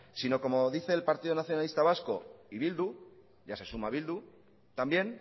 sino como dice el partido nacionalista vasco y bildu ya se suma bildu también